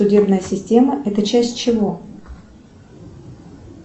судебная система это часть чего